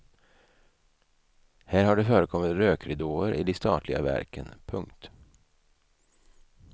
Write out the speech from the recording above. Här har det förekommit rökridåer i de statliga verken. punkt